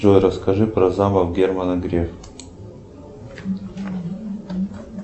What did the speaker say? джой расскажи про замок германа грефа